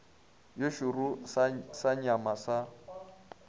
ye šoro sa nyama sa